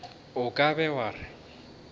o ka be wa re